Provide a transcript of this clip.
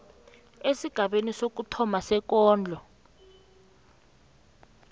esigabeni sokuthoma sekondlo